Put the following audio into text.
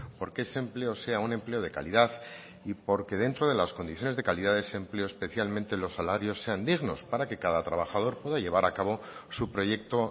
porque ese empleo sea un empleo de calidad y porque dentro de las condiciones de calidad de ese empleo especialmente los salarios sean dignos para que cada trabajador pueda llevar a cabo su proyecto